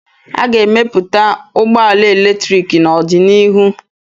A ga-emepụta ụgbọ ala eletrik n'ọdịnihu